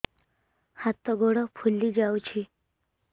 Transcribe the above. ହାତ ଗୋଡ଼ ଫୁଲି ଯାଉଛି